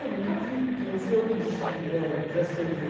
Eu nunca vi, porque não fui eu que digitali eh transcrevi.